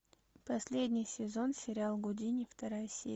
последний сезон сериал гудини вторая серия